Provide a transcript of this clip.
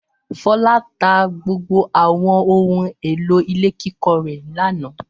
Fọlá tá gbogbo àwọn ohun-èlò ilé kíkọ́ rẹ̀ lánàá.